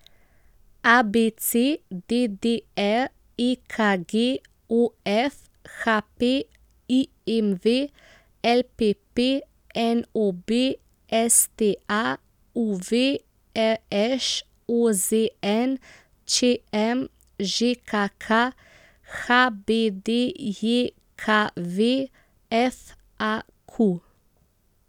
A B C; D D R; E K G; O F; H P; I M V; L P P; N O B; S T A; U V; R Š; O Z N; Č M; Ž K K; H B D J K V; F A Q.